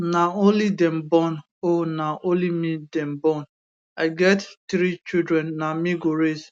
na only dem born oh na only me dem born i get three children na me go raise